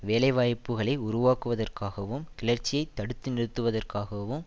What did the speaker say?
வேலை வாய்ப்புக்களை உருவாக்குவதற்காகவும் கிளர்ச்சியை தடுத்து நிறுத்துவதற்காகவும்